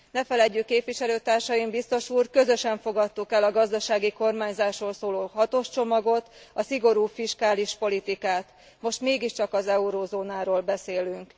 Ne feledjük képviselőtársaim, biztos úr, közösen fogadtuk el a gazdasági kormányzásról szóló hatos csomagot, a szigorú fiskális politikát, most mégiscsak az eurózónáról beszélünk.